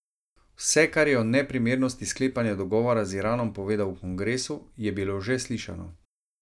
Vse, kar je o neprimernosti sklepanja dogovora z Iranom povedal v kongresu, je bilo že slišano.